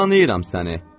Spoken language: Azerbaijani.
Tanıyıram səni.